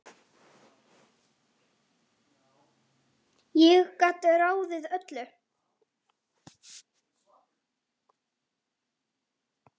Ég gat ráðið öllu.